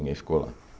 Ninguém ficou lá.